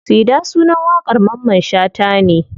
Sida sunan waƙar mamman shata ne.